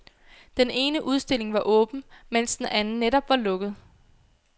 Den ene udstilling var åben, men den anden var netop lukket.